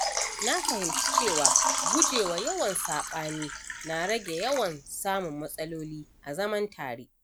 Na fahimci cewa gujewa yawan saɓani na rage yawan samun matsaloli a zaman tare